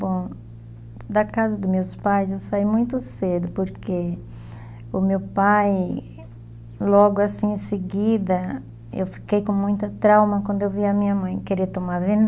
Bom, da casa dos meus pais eu saí muito cedo, porque o meu pai, logo assim em seguida, eu fiquei com muita trauma quando eu vi a minha mãe querer tomar